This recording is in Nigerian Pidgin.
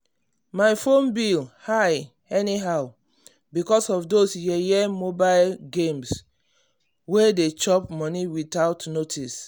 my phone bill high anyhow because of those yeye mobile games wey dey chop money without notice.